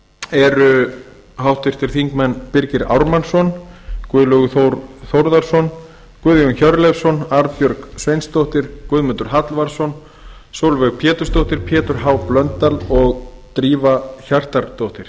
eru háttvirtir þingmenn birgir ármannsson guðlaugur þór þórðarson guðjón hjörleifsson arnbjörg sveinsdóttir guðmundur hallvarðsson sólveig pétursdóttir pétur h blöndal og drífa hjartardóttir